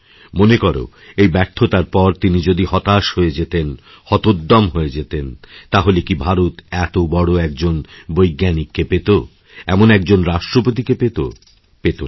মনে কর এই ব্যর্থতার পর তিনি যদি হতাশ হয়ে যেতেন হতোদ্যমহয়ে যেতেন তাহলে কি ভারত এত বড় একজন বৈজ্ঞানিককে পেত এমন একজন রাষ্ট্রপতিকেপেত পেত না